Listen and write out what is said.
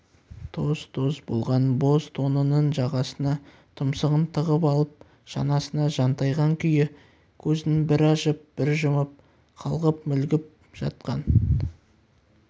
тоз-тоз болған боз тонының жағасына тұмсығын тығып алып шанасына жантайған күйі көзін бір ашып бір жұмып қалғып-мүлгіп жатқан